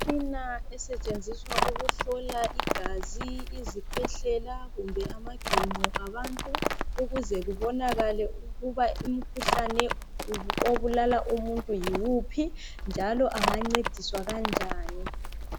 Imitshina esetshenziswa ukuhlola igazi izikwehlela kumbe amaginqo abantu ukuze kubonakale ukuba umkhuhlane obulala umuntu yiwuphi njalo engancediswa kanjani